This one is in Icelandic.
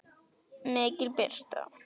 MIKIL BIRTA